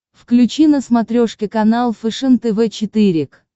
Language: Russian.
включи на смотрешке канал фэшен тв четыре к